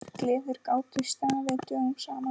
Gleðir gátu staðið dögum saman.